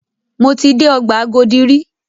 Mo ti dé ọgbà Agodi rí.